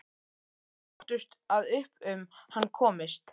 Við óttumst að upp um hann komist.